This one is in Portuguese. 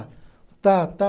Tá, tá